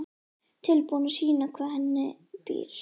Tilbúin að sýna hvað í henni býr.